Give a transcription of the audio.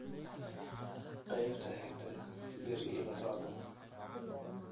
qaybta xigta berri ila socda